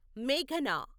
మేఘనా